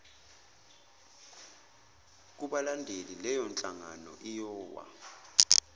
kubalandeli leyonhlangano iyowa